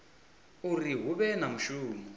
uri hu vhe na mushumo